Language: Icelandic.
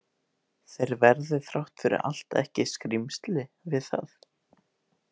Þeir verði þrátt fyrir allt ekki „skrýmsli“ við það.